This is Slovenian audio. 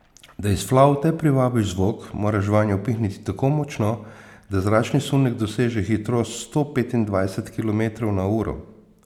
Da iz flavte privabiš zvok, moraš vanjo pihniti tako močno, da zračni sunek doseže hitrost sto petindvajset kilometrov na uro.